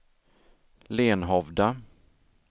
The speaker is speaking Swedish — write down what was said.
Lenhovda